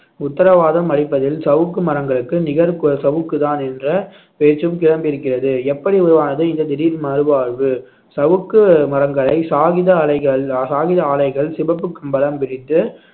உத்தரவாதம் அளிப்பதில் சவுக்கு மரங்களுக்கு நிகர் கு~ சவுக்குதான் என்ற பேச்சும் கிளம்பியிருக்கிறது எப்படி உருவானது இந்த திடீர் மறுவாழ்வு சவுக்கு மரங்களை சாகிதா அலைகள் ஆஹ் காகித ஆலைகள் சிவப்பு கம்பளம் விரித்து